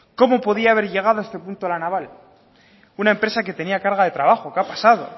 cómo podía haber llegado a este punto la naval una empresa que tenía carga de trabajo qué ha pasado